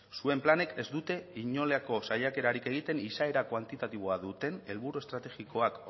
zuen planek ez dute inolako saiakerarik egiten izaera kuantitatiboa duten helburu estrategikoak